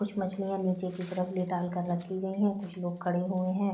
कुछ मछलियां नीचे की तरफ लेटाल कर रखी गई हैं। कुछ लोग खड़े हुए हैं।